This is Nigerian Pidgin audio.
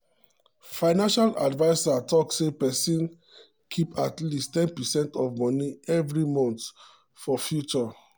financial adviser talk say make person keep at least ten percent of moni every month for future.